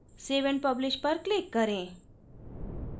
save and publish पर click करें